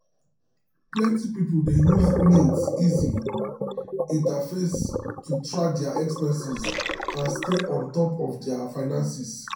plenty people dey use mint easy interface to track dia expenses um and stay on um top um of dia finances.